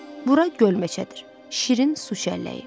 Bura göl meçədir, şirin su şəlləyi.